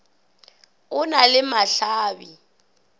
o na le mahla bi